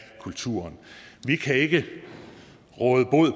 kulturen vi kan ikke råde bod